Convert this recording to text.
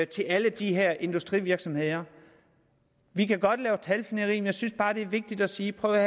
til alle de her industrivirksomheder vi kan godt lave talfnidder men jeg synes bare det er vigtigt at sige prøv at